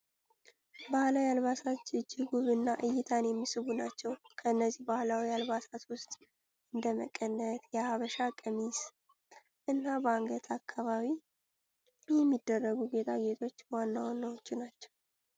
ባህላዊ አልባሳት እጅግ ውብ እና እይታን የሚስቡ ናቸው። ከእነዚህ ባህላዊ አልባሳት ውስጥ እንደ መቀነት፣ የሀበሻ ቀሚስ እና በአንገት አካባቢ የሚደረጉ ጌጣጌጦች ዋና ዋናዎቹ ናቸው።